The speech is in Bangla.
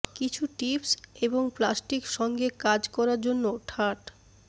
কিছু টিপস এবং প্লাস্টিক সঙ্গে কাজ করার জন্য ঠাট